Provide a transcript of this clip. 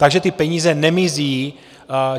Takže ty peníze nemizí.